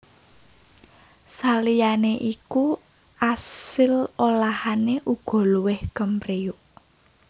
Saliyané iku asil olahané uga luwih kemriyuk